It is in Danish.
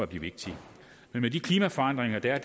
bliver vigtigt med de klimaforandringer der er